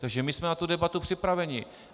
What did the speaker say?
Takže my jsme na tu debatu připraveni.